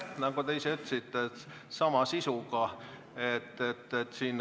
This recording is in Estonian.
Nagu te ise ütlesite, on see sama sisuga.